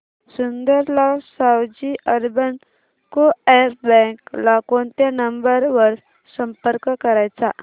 Sundarlal Savji urban co-op bank ला कोणत्या number वर संपर्क करायचा